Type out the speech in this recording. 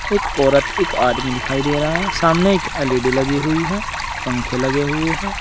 एक औरत एक आदमी दिखाई दे रहा है सामने एक एल_इ_डी लगी हुई है पंखे लगे हुए हैं।